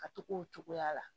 Ka to k'o cogoya la